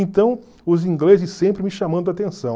Então, os ingleses sempre me chamando a atenção.